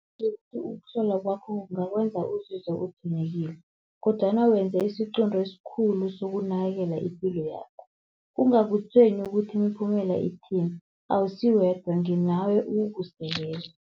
ukuhlola kwakho kungakwenza uzizwe kodwana wenze isiqunto esikhulu sokunakekela ipilo yakho. Kungakutshwenyi ukuthi imiphumela ithini awusi wedwa, nginawe ukukusekela.